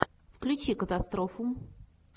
включи катастрофу